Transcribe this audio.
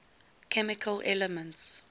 chemical elements